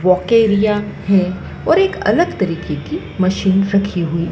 ओकेरिया हम्म और एक अलग तरीके की मशीन रखी हुई--